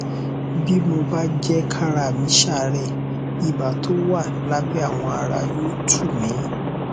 bí mo bá jẹ kára mí ṣàárẹ ipa tó wà lábẹ awọ ara yóò tù mí